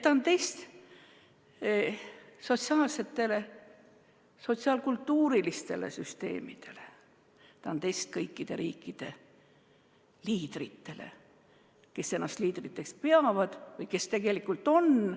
Ta on test sotsiaalsetele, sotsiaalkultuurilistele süsteemidele, ta on test kõikide riikide liidritele, kes ennast liidriteks peavad või kes seda tegelikult on.